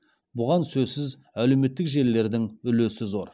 бұған сөзсіз әлеуметтік желілердің үлесі зор